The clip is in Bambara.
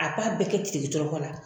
A b'a bɛɛ kɛ tirikitɔrɔkɔ la